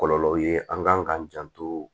Kɔlɔlɔw ye an kan k'an janto